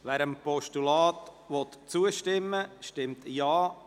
Wer dieses Postulat annehmen will, stimmt Ja,